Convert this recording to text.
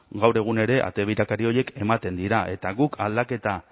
gaur egun ere ate birakari horiek ematen dira eta guk aldaketak